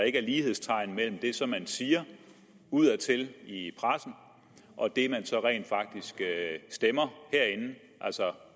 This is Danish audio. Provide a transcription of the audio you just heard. ikke er lighedstegn mellem det som man siger udadtil i pressen og det man så rent faktisk stemmer herinde altså